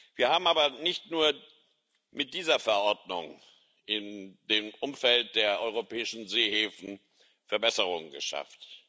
Wir haben aber nicht nur mit dieser Verordnung im Umfeld der europäischen Seehäfen Verbesserungen geschafft.